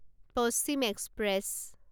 Paschim express